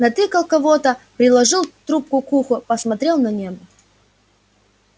натыкал кого-то приложил трубку к уху посмотрел на небо